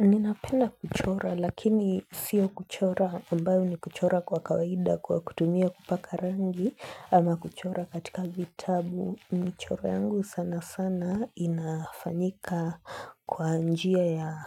Ninapenda kuchora lakini sio kuchora ambayo ni kuchora kwa kawaida kwa kutumia kupaka rangi, ama kuchora katika vitabu. Michoro yangu sana sana, inafanyika kwa njia ya